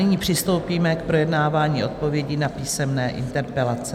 Nyní přistoupíme k projednávání odpovědí na písemné interpelace.